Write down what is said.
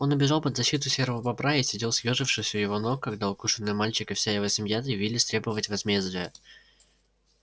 он убежал под защиту серого бобра и сидел съёжившись у его ног когда укушенный мальчик и вся его семья заявились требовать возмездия